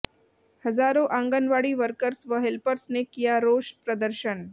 हजारों आंगनवाड़ी वर्कर्स व हेल्पर्स ने किया रोष प्रदर्शन